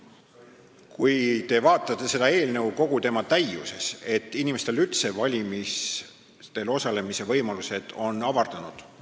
Kui te vaatate seda eelnõu kogu tema täiuses, siis näete, et inimestel on üldse valimisel osalemise võimalused avardunud.